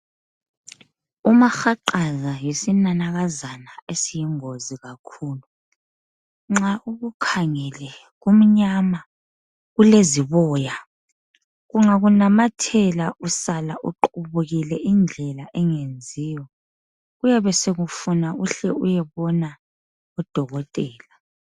Umahaqaza yisinanakazana esiyingozi kakhulu. Nxa ukukhangele kumnyama kuleziboya. Kungakunamathela usala uqubukile indlela engenziyo. Kuyabe sekufuna uhle uyebona udokotela.